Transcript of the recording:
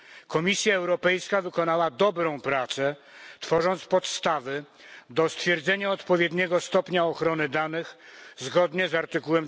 Komisja Europejska wykonała dobrą pracę, tworząc podstawy do stwierdzenia odpowiedniego stopnia ochrony danych zgodnie z art.